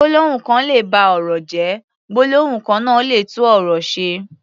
Gbólóhùn kan lè ba ọ̀rọ̀ jẹ́, gbólóhùn kan náà lè tún ọ̀rọ̀ ṣe.